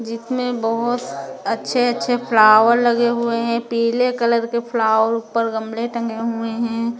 जिसमें बहुत अच्छे अच्छे फ्लावर लगे हुए है पीले कलर के फ्लावर ऊपर गमले टंगे हुए हैं ।